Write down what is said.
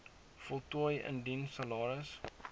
voltooi indien salaris